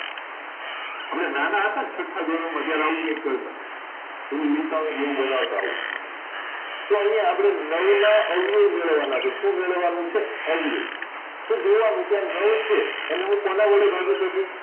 અમે નાના હતા ને છઠા ધોરણ માં જયારે આવું કાઈક કરતા પેલું નિસરણી જેવું બનવતા આવું તો અહીં નવ નાં અપડે આવીયો જોડવા ના છે શું જોડવા ના છે આવીયો તો જોવા નું કે આ નવ ચેવ એને હું કોના વડે ભાગી શકું